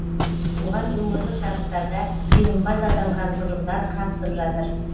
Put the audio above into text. оған өңірлік жарыстарда жеңімпаз атанған ұжымдар қатысып жатыр